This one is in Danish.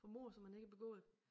For mord som han ikke har begået